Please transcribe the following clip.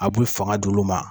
A bi fanga d'olu ma.